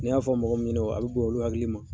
N'i y'a fɔ mɔgɔ min ɲɛna, a bɛ bonya olu hakili ma.